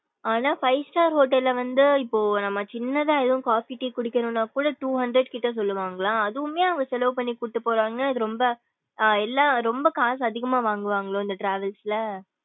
ஆனா five star hotel ல வந்து இப்போ நம்ம சின்னதா எதும் coffee tea குடிக்கணும்ன கூட two hundred கிட்ட கூட சொல்லுவாங்களா அதுவுமே அவுங்க சிலவு பண்ணி கூடுபோரங்க அது ரொம்ப அஹ் எல்லா ரொம்ப காசு அதிகமா வாங்குவன்களோ இந்த travels ல.